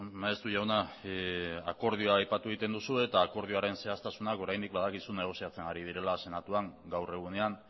maeztu jauna akordioa aipatu egiten duzu eta akordioaren zehaztasunak oraindik badakizu negoziatzen ari direla senatuan gaur egunean